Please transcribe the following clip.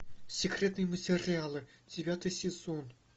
секретные материалы девятый сезон